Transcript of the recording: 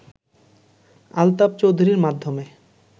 আলতাফ চৌধুরীর মাধ্যমে